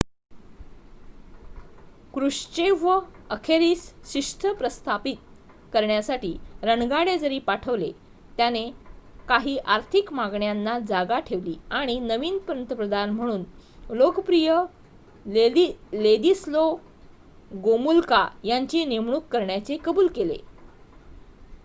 Khrushchev अखेरीस शिस्त प्रस्थापित करण्यासाठी रणगाडे जरी पाठवले त्याने काही आर्थिक मागण्यांंना जागा ठेवली आणि नवीन पंतप्रधान म्हणून लोकप्रिय लेदिस्लो गोमुल्का यांची नेमणूक करण्याचे काबुल केले